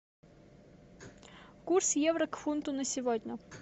курс евро к фунту на сегодня